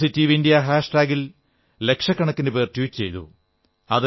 positive India hashtag ൽ ലക്ഷക്കണക്കിന് പേർ ട്വീറ്റ് ചെയ്തു